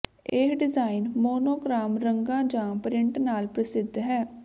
ਇਹ design monochrome ਰੰਗਾਂ ਜਾਂ ਪ੍ਰਿੰਟ ਨਾਲ ਪ੍ਰਸਿੱਧ ਹੈ